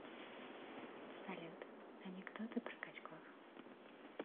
салют анекдоты про качков